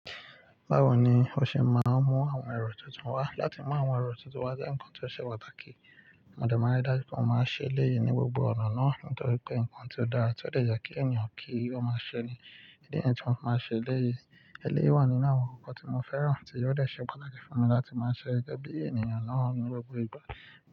Báwo ni o ṣe máa ń mú àwọn ẹrọ tuntun wá? Látí mú àwọn ẹ̀rọ tuntun wá jẹ́ ǹkan tó ṣe pàtàkì. Mo dẹ márí daju pe mo máa ṣe eléyìí ní gbogbo ọ̀nà náà nítorí pé ǹkan tí ó dára tí ó dẹ̀ yẹ kí ènìyàn kí o máa ṣe ni. Ídí nìyí tí mo máa ń ṣe eléyìí. Eléyìí wà nínú àwọn ǹkan tí mo fẹ́ràn tí o dẹ̀ ṣe pàtàkì fún mi láti máa ṣe gẹgẹ bí ènìyàn náà ní gbogbo ìgbà.